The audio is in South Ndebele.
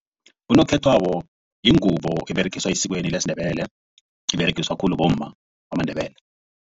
Unokhethwako yingubo eberegiswa esikweni lesiNdebele iberegiswa khulu bomma bamaNdebele.